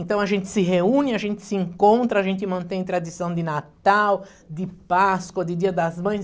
Então, a gente se reúne, a gente se encontra, a gente mantém a tradição de Natal, de Páscoa, de Dia das Mães.